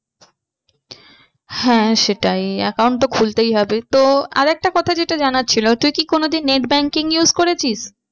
হ্যাঁ সেটাই account তো খুলতেই হবে। তো আর একটা কথা যেটা জানার ছিল তুই কি কোনো দিন net banking use করেছিস?